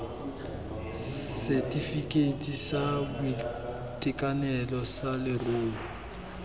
setefikeiti sa boitekanelo sa leruo